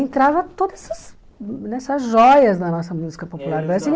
Entrava todas essas essas joias da nossa música popular brasileira.